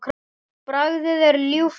Bragðið er ljúft og sætt.